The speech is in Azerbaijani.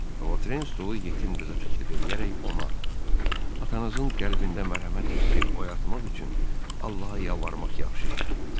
Votren stolu yetim qıza təklif eləyərək ona atanızın qəlbində mərhəmət hissi oyatmaq üçün Allaha yalvarmaq yaxşı işdir dedi.